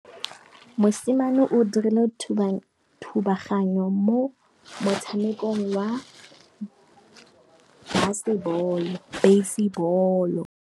Mosimane o dirile thubaganyô mo motshamekong wa basebôlô.